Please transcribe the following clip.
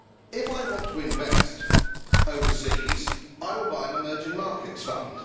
If I want to invest overseas, I will buy an emerging markets fund.